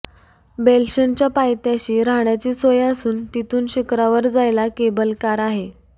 बेल्शेनच्या पायथ्याशी राहण्याची सोय असून तिथून शिखरावर जायला केबल कार आहे